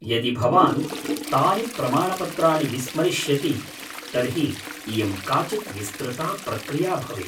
यदि भवान् तानि प्रमाणपत्राणि विस्मरिष्यति तर्हि इयं काचित् विस्तृता प्रक्रिया भवेत्।